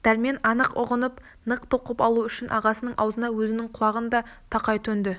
дәрмен анық ұғынып нық тоқып алу үшін ағасының аузына өзінің құлағын да тақай төнді